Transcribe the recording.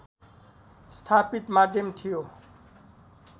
स्थापित माध्यम थियो